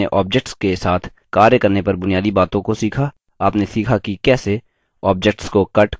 इस tutorial में आपने objects के साथ कार्य करने पर बुनियादी बातों को सीखा आपने सीखा कि कैसे: